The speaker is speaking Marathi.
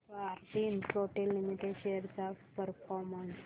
भारती इन्फ्राटेल लिमिटेड शेअर्स चा परफॉर्मन्स